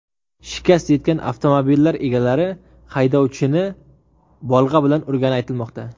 Shikast yetgan avtomobillar egalari haydovchini bolg‘a bilan urgani aytilmoqda.